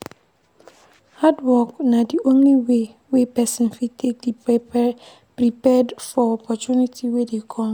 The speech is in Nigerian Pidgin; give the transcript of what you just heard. Hard work na di only way wey person fit take dey prepared for opportunity wey dey come